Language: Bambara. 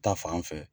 Ta fan fɛ